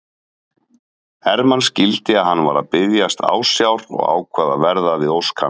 Hermann skildi að hann var að biðjast ásjár og ákvað að verða við ósk hans.